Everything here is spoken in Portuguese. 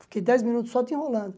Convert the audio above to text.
Fiquei dez minutos só te enrolando.